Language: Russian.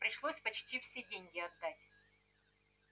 пришлось почти все деньги отдать